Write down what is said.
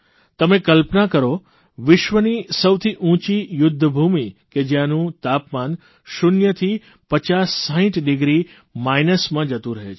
તમે કલ્પના કરો વિશ્વની સૌથી ઉંચી યુદ્ધભૂમિ કે જયાંનું તાપમાન શૂન્યથી 50 60 ડીગ્રી માઇનસમાં જતું રહે છે